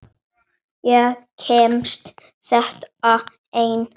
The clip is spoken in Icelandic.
Ég kemst þetta einn.